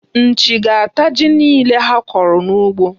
Nchi ga-ata ji niile ha kọrọ n'ugbo.